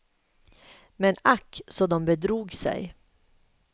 Men ack så de bedrog sig.